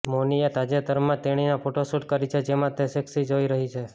મૌનીએ તાજેતરમાં જ તેણીની ફોટોશૂટ કરી છે જેમાં તે સેક્સી જોઈ રહી છે